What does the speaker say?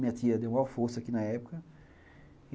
Minha tia deu uma força aqui na época.